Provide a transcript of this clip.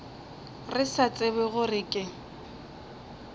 re sa tsebe gore ke